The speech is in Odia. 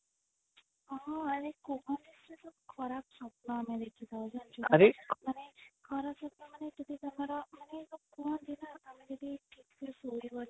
ହଁ ମ କୁହନି ସେ ଯୋଉ ଖରାପ ସ୍ଵପ୍ନ ଆମେ ଦେଖି ଥାଉ ଜନିଛୁଣା ମାନେ ଖରାପ ସ୍ଵପ୍ନ ମାନେ ଯେମତି ଆମର ସବୁ କୁହନ୍ତି ନା ଆମେ ଯଦି ଠିକ ସେ ଶୋଇବନି